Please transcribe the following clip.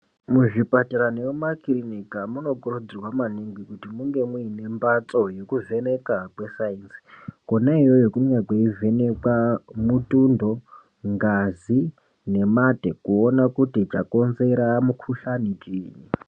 Muzvipatara nemumakiriniki hamunokurudzirwa maningi kuti munge mune mbatso yekuvhenekwa kesayinzi. Kona iyoyo kunenge kweivhenekwa mutundo, ngazi nemate kuona kuti chakonzera mukuhlani chinyi.